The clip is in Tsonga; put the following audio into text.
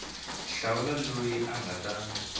hlawula loyi a nga ta